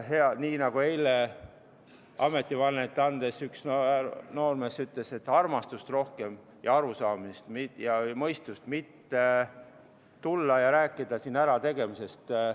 Nii nagu eile ametivannet andes üks noormees ütles, et armastust, arusaamist ja mõistust võiks olla rohkem, et me ei räägiks siin ärategemisest.